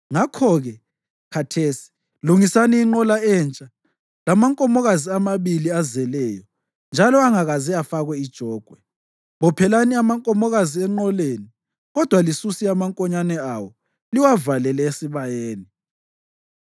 “Ngakho-ke khathesi, lungisani inqola entsha lamankomokazi amabili azeleyo njalo angakaze afakwe ijogwe. Bophelani amankomokazi enqoleni, kodwa lisuse amankonyane awo liwavalele esibayeni.